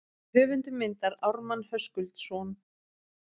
Höfundur myndar Ármann Höskuldsson.